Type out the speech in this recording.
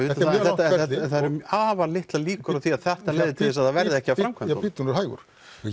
það eru afar litlar líkur á því að þetta leiði til þess að það verði ekki að framkvæmdunum já bíddu nú hægur